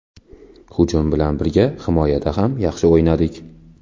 Hujum bilan birga himoyada ham yaxshi o‘ynadik.